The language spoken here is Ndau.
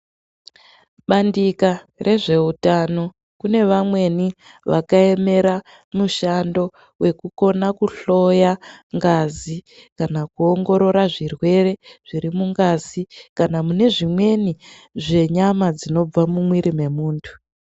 Bandika rezvehutano kune vamweni vakaemera mushando wekukona kuhloya ngazi kana kuongorora zvirwere zviri mungazi kana mune zvimweni zvenyama dzinobva mumwiri wemuntu.